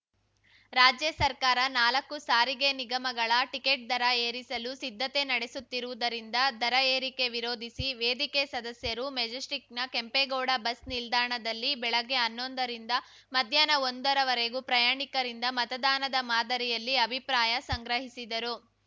ರಾಜ್ಯ ಸರ್ಕಾರ ನಾಲ್ಕು ಸಾರಿಗೆ ನಿಗಮಗಳ ಟಿಕೆಟ್‌ ದರ ಏರಿಸಲು ಸಿದ್ಧತೆ ನಡೆಸುತ್ತಿರುವುದರಿಂದ ದರ ಏರಿಕೆ ವಿರೋಧಿಸಿ ವೇದಿಕೆ ಸದಸ್ಯರು ಮೆಜೆಸ್ಟಿಕ್‌ನ ಕೆಂಪೇಗೌಡ ಬಸ್‌ ನಿಲ್ದಾಣದಲ್ಲಿ ಬೆಳಗ್ಗೆ ಹನ್ನೊಂದರಿಂದ ಮಧ್ಯಾಹ್ನ ಒಂದರವರೆಗೂ ಪ್ರಯಾಣಿಕರಿಂದ ಮತದಾನದ ಮಾದರಿಯಲ್ಲಿ ಅಭಿಪ್ರಾಯ ಸಂಗ್ರಹಿಸಿದರು